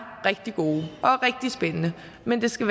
rigtig gode og rigtig spændende men det skal